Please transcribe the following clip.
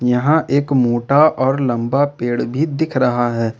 यहां एक मोटा और लंबा पेड़ भी दिख रहा है।